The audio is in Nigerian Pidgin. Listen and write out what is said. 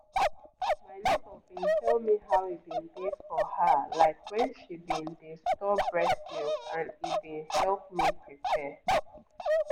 my neighbor been tell me how e been dey for her like when she been dey store breast milk and e been help me prepare